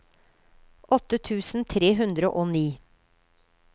åtte tusen tre hundre og ni